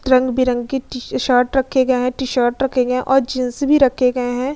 रंग-बिरंगी T shirt रखे गए हैं टी-शर्ट रखे गए हैं और जीन्स भी रखे गए हैं।